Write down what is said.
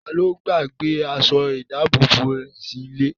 Ta ló gbàgbé aṣọ ìdábòbò rẹ̀ sílé?